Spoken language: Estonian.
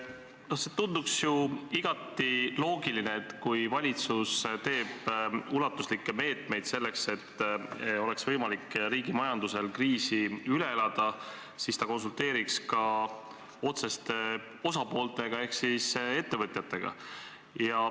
No see tundub ju igati loogiline, et kui valitsus võtab ulatuslikke meetmeid selleks, et riigi majandusel oleks võimalik kriis üle elada, siis ta konsulteerib ka otseste osapooltega ehk ettevõtjatega.